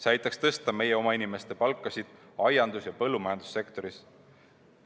See aitaks tõsta meie oma inimeste palku aiandus- ja põllumajandussektoris.